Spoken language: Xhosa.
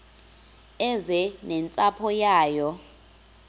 eze nentsapho yayo